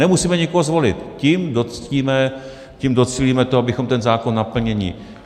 Nemusíme nikoho zvolit, tím docílíme toho, abychom ten zákon naplnili.